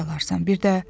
Çörək alarsan.